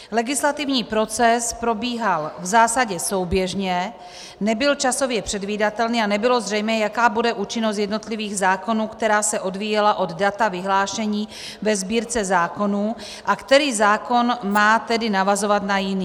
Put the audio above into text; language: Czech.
Legislativní proces probíhal v zásadě souběžně, nebyl časově předvídatelný a nebylo zřejmé, jaká bude účinnost jednotlivých zákonů, která se odvíjela od data vyhlášení ve Sbírce zákonů, a který zákon má tedy navazovat na jiný.